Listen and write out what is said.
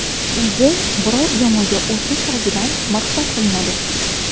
O‘zi biror jamoaga o‘tish oldidan maqsad qilinadi.